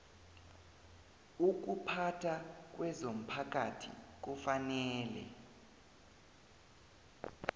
ukuphatha kwezomphakathi kufanele